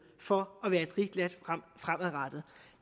for at være et rigt land fremadrettet